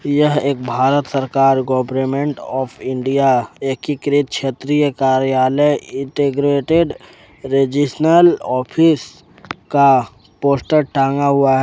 यह एक भारत सरकार गवर्नमेंट ऑफ इंडिया एकीकृत क्षेत्रीय कार्यालय का पोस्टर टांगा हुआ है।